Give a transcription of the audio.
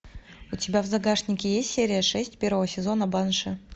у тебя в загашнике есть серия шесть первого сезона банши